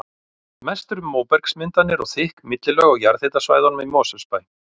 Mest er um móbergsmyndanir og þykk millilög á jarðhitasvæðunum í Mosfellsbæ.